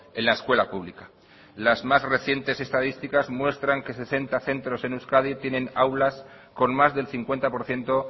en la escuela pública las más recientes estadísticas muestran que sesenta centros en euskadi tienen aulas con más del cincuenta por ciento